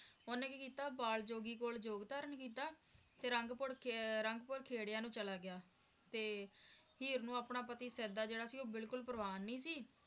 ਓਹਨੇ ਕਿ ਕੀਤਾ ਬਾਲ ਜੋਗੀ ਕੋਲ ਜੋਗ ਧਾਰਨ ਕੀਤਾ ਤੇ ਰੰਗਪੁਰ ਰੰਗਪੁਰ ਖੇਡਾਂ ਨੂੰ ਚਲਾ ਗਿਆ ਤੇ ਹੀਰ ਨੂੰ ਆਪਣਾ ਪਤੀ ਸ਼ਾਇਦ ਜਿਹੜਾ ਸੀ ਉਹ ਬਿਲਕੁਲ ਪ੍ਰਵਾਨ ਨੀ ਸੀ